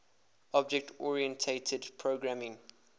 object oriented programming